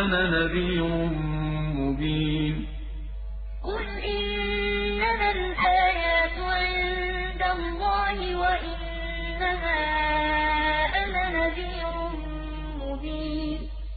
أَنَا نَذِيرٌ مُّبِينٌ وَقَالُوا لَوْلَا أُنزِلَ عَلَيْهِ آيَاتٌ مِّن رَّبِّهِ ۖ قُلْ إِنَّمَا الْآيَاتُ عِندَ اللَّهِ وَإِنَّمَا أَنَا نَذِيرٌ مُّبِينٌ